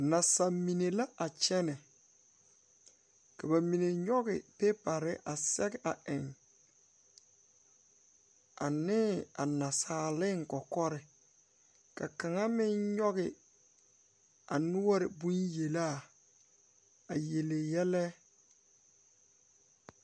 Naasa mine la a kyɛnɛ ka ba mine nyoge pepɛrre a sɛge a eŋ aneŋ a naasaaleŋ kɔkɔre ka kaŋa meŋ nyoge a noɔre bonyelaa a yele yɛlɛ.